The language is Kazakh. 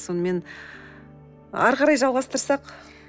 сонымен ары қарай жалғастырсақ